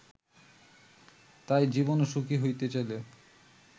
তাই জীবনে সুখী হতে চাইলে